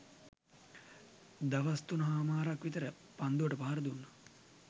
දවස් තුන හමාරක් විතර පන්දුවට පහර දුන්න